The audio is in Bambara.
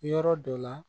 Yɔrɔ dɔ la